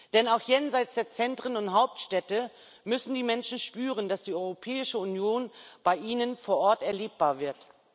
Denn auch jenseits der Zentren und Hauptstädte müssen die Menschen spüren, dass die Europäische Union bei ihnen vor Ort erlebbar wird.